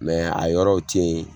Mɛ a yɔrɔw te yen